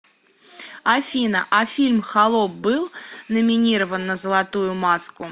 афина а фильм холоп был номинирован на золотую маску